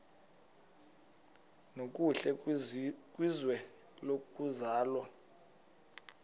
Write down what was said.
nokuhle kwizwe lokuzalwa